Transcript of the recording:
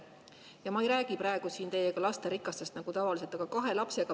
Ja ma ei räägi praegu siin teiega lasterikastest nagu tavaliselt.